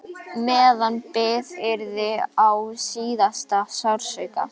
Meðan bið yrði á síðasta sársauka.